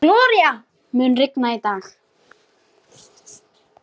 Gloría, mun rigna í dag?